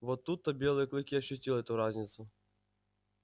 вот тут то белый клык и ощутил эту разницу